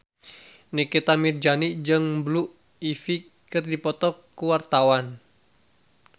Nikita Mirzani jeung Blue Ivy keur dipoto ku wartawan